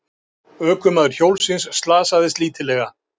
Ökumaður hjólsins slasaðist lítillega